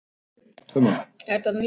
Fara Aron og Róbert?